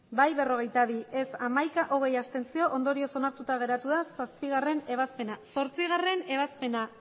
bai berrogeita bi ez hamaika abstentzioak hogei ondorioz onartuta geratu da zazpigarrena ebazpena zortzigarrena ebazpena